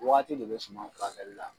Waati de bɛ suma furakɛli la.